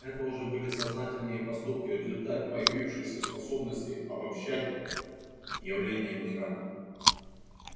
это уже были сознательные поступки результат появившейся способности обоб-щать явления мира